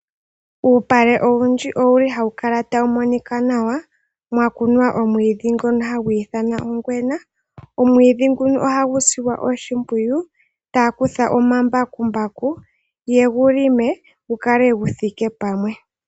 Uupale owundji owuli hawu kala tawu monika nawa mwakunwa omwiidhi ngono hagu ithanwa ongwena. Omwiidhi nguno oha gu silwa oshimpwiyu . Ohaya kutha omambakumbaku yegu lime , gu kale guthike pamwe.